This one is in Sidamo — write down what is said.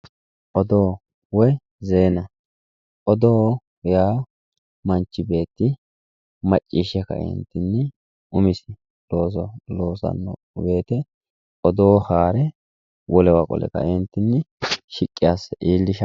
odoo woy zeena odoo yaa manchi beeti macciishshe ka'e umisinni loosanno woyte odoo hare wolewa qole kaeentinni shiqqi asse iillishshanno